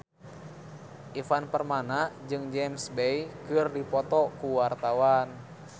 Ivan Permana jeung James Bay keur dipoto ku wartawan